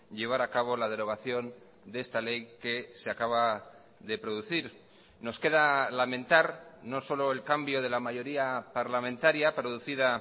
llevar a cabo la derogación de esta ley que se acaba de producir nos queda lamentar no solo el cambio de la mayoría parlamentaria producida